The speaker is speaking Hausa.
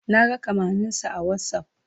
Na ga kamanninsa a Whatsapp.